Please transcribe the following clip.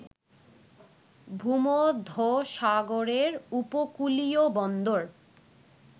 ভূমধ্যসাগরের উপকূলীয় বন্দর